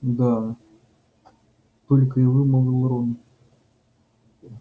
да только и вымолвил рон